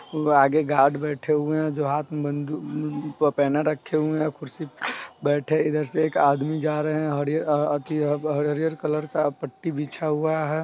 वो आगे गार्द बेठे हुए है जो हाथ में बन्दुक अ उ पहने रखे है| कुर्सी पे बेठे इधर से आदमी जा रहे है| अलग हरीयर अ अथि अ हरीयर कलर का पट्टी बिछा हुआ है।